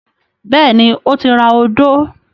Bẹ́ẹ̀ni, ó ti ra odó.